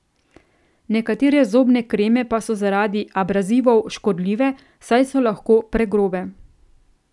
Nekatere zobne kreme pa so zaradi abrazivov škodljive, saj so lahko pregrobe.